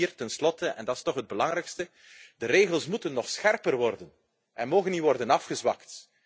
En ten slotte vier, en dat is toch het belangrijkste de regels moeten nog scherper worden en mogen niet worden afgezwakt.